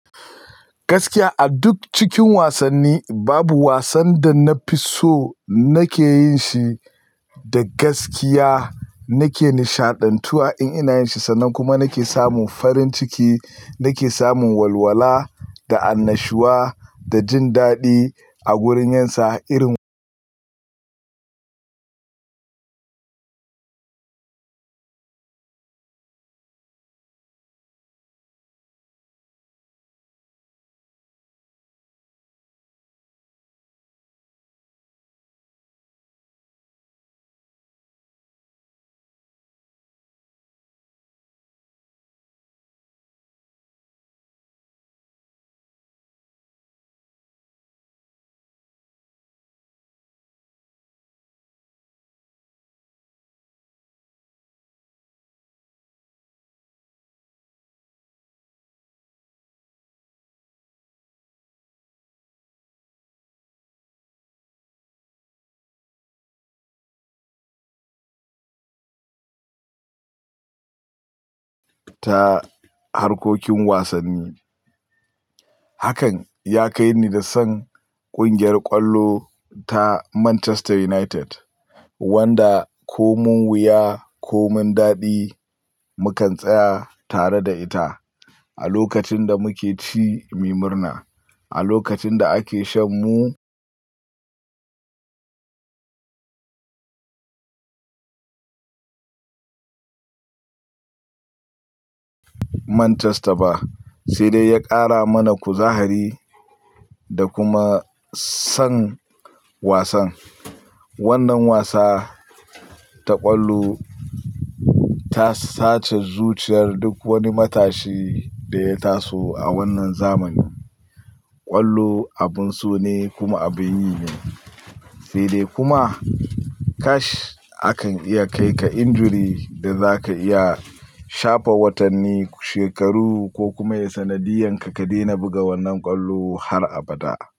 Gaskiya a duk cikin wasanni babu wasan da na fi so nake yin shi da gaskiya, nake nishaɗantuwa in ina yin shi sannan kuma nake samun farin ciki, nake samun walwala da annashuwa da jin daɗi a gurin yinsa irin ta harkokin wasanni. Hakan ya kai ni da san ƙungiyar ƙwallo ta Manchester United. Wanda ko mun wuya ko mun daɗi mukan tsaya tare da ita. A lokacin da muke ci, muyi murna, a lokacin da ake shan mu Manchester ba. Sai dai ya ƙara mana kuzahari da kuma san wasan. Wannan wasa ta ƙwallo ta sace zuciyar duk wani matashi da ya taso a wannan zamani. Ƙwallo abun so ne kuma abin yi ne. Sai dai kuma, kash a kan iya kai ka injury da za ka iya shafa watanni, shekaru ko kuma ya sanadiyan ka ka daina buga wannan ƙwallo har abada.